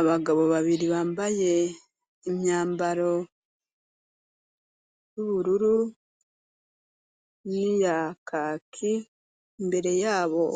Abagabo babiri bambaye impyambaro y'ubururu n'iyakaki imbere yabo